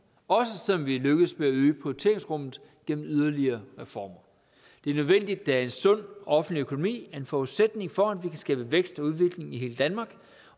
også selv om vi er lykkedes med at øge prioriteringsrummet gennem yderligere reformer det er nødvendigt da en sund offentlig økonomi er en forudsætning for at vi kan skabe vækst og udvikling i hele danmark